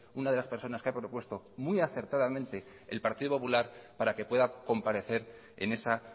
una de las personas que ha propuesto muy acertadamente el partido popular para que pueda comparecer en esa